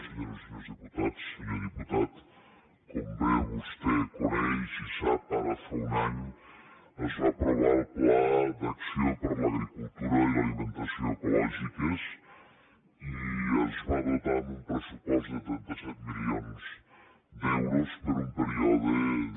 senyores i senyors diputats senyor diputat com bé vostè coneix i sap ara fa un any es va aprovar el pla d’acció per a l’agricultura i l’alimentació ecològiques i es va dotar amb un pressupost de trenta set milions d’euros per un període de